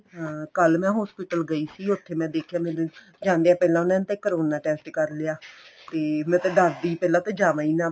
ਹਾਂ ਕੱਲ ਮੈਂ hospital ਗਈ ਸੀ ਉੱਥੇ ਮੈਂ ਦੇਖਿਆ ਮੈਨੂੰ ਜਾਂਦਿਆ ਪਹਿਲਾਂ ਉਨ੍ਹਾਂ ਨੇ ਤਾਂ ਮੇਰਾ ਕਰੋਨਾ test ਕਰ ਲਿਆ ਕੀ ਮੈਂ ਤਾਂ ਡਰਦੀ ਪਹਿਲਾਂ ਤਾਂ ਜਾਵਾ ਈ ਨਾ